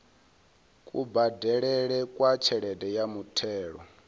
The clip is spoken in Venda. kubadelele kwa tshelede ya muthelo